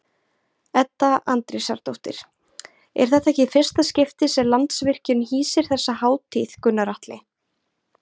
Edda Andrésdóttir: Er þetta ekki í fyrsta skipti sem Landsvirkjun hýsir þessa hátíð Gunnar Atli?